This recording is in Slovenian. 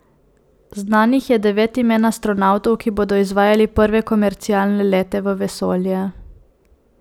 Znanih je devet imen astronavtov, ki bodo izvajali prve komercialne lete v vesolje.